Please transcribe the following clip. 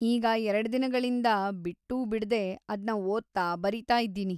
ಈಗ ಎರ್ಡ್‌ ದಿನಗಳಿಂದಾ ಬಿಟ್ಟೂಬಿಡ್ದೇ ಅದ್ನ ಓದ್ತಾ, ಬರೀತಾ ಇದ್ದೀನಿ.